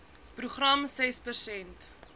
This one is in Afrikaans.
program ses persent